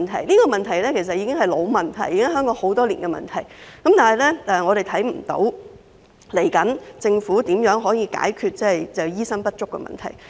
這些其實都是老問題，是香港多年來的問題，但我們仍未看到政府打算如何解決醫生不足的問題。